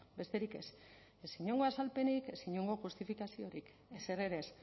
besterik ez ez inongo azalpenik ez inongo justifikaziorik ezer ere ez